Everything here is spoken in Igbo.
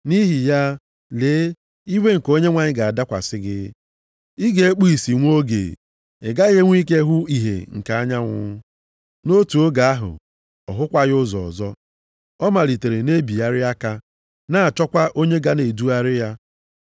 Nʼihi ya lee, iwe nke Onyenwe anyị ga-adakwasị gị. Ị ga-ekpụ ìsì nwa oge, ị gaghị enwe ike hụ ìhè nke anyanwụ.” Nʼotu oge ahụ, ọ hụkwaghị ụzọ ọzọ. Ọ malitere na-ebigharị aka, na-achọkwa onye ga na-edugharị ya.